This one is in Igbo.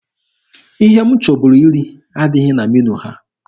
Ihe m chọburu iri adịghị na meniu ha.